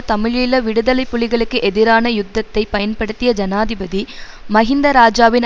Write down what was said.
தமிழீழ விடுதலை புலிகளுக்கு எதிரான யுத்தத்தை பயன்படுத்திய ஜனாதிபதி மஹிந்த இராஜாவின்